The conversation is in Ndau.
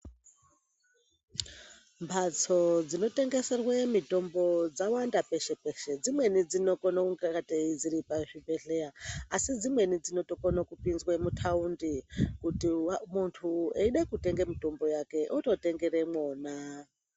Mhatso dzinotengeserwe mitombo dzawanda peshe-peshe dzimweni dzinokona kungatei dziri pazvibhedhleya asi dzimweni dzinotokone kutopinzwa mutaundi kuti muntu eida kutenge mitombo yake ototengere mwona.